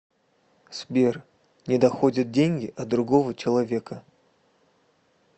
сбер не доходят деньги от другого человека